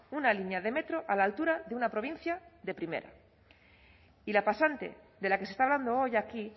una línea de metro a la altura de una provincia de primera y la pasante de la que se está hablando hoy aquí